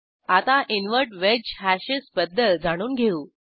आता invert wedge hashes बद्दल जाणून घेऊ